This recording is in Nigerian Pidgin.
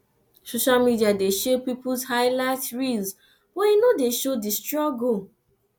social media dey show peoples highlight reels but e no dey show di struggle